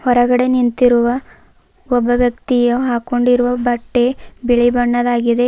ಹೊರಗಡೆ ನಿಂತಿರುವ ಒಬ್ಬ ವ್ಯಕ್ತಿಯು ಹಾಕೊಂಡಿರುವ ಬಟ್ಟೆ ಬಿಳಿ ಬಣ್ಣದಾಗಿದೆ.